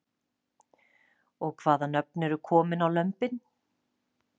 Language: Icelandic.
Og hvaða nöfn eru komin á lömbin?